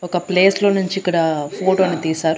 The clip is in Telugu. ఒక ప్లేస్ లో నుంచి ఇక్కడ ఫోటో ని తీసారు.